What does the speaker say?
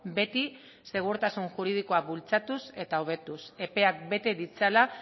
beti segurtasun juridikoa bultzatuz eta hobetuz epeak bete ditzala